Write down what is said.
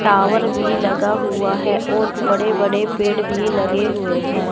Tower भी लगा हुआ है और बड़े बड़े पेड़ भी लगे हुए हैं।